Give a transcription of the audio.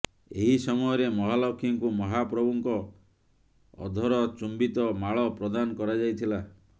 ଏହି ସମୟରେ ମହାଲକ୍ଷ୍ମୀଙ୍କୁ ମହାପ୍ରଭୁଙ୍କ ଅଧର ଚୁମ୍ବିତ ମାଳ ପ୍ରଦାନ କରାଯାଇଥିଲା